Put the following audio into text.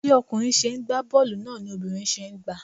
Bí ọkùnrin ṣe ń gba boolu náà ni obìnrin ṣe ń gba.